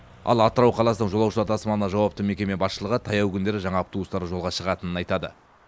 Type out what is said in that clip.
ал атырау қаласының жолаушылар тасымалына жауапты мекеме басшылығы таяу күндері жаңа автобустары жолға шығатынын айтады